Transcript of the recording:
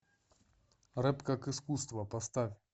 рэп как искусство поставь